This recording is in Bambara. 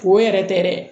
Ko yɛrɛ tɛ dɛ